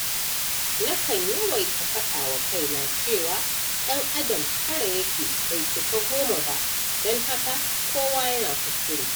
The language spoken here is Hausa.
Na kan yawaita faɗawa kaina cewa ɗan adam tara ya ke bai cika goma ba, don haka kowa yana kuskure.